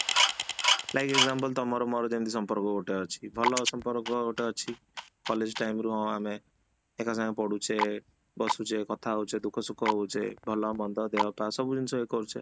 like example ତାମର ମୋର ଗୋଟେ ସମ୍ପର୍କ ଗୋଟେ ଅଛି କି ଭଲ ସମ୍ପର୍କ ଗୋଟେ ଅଛି college time ରୁ ହଁ ଆମେ ଏକା ସାଙ୍ଗରେ ପଢ଼ୁଛେ ବସୁଛେ କଥା ହଉଛେ, ଦୁଃଖ ସୁଖ ହଉଛେ ଭଲ ମନ୍ଦ ଦେହପା ସବୁ ଜିନିଷ କରୁଛେ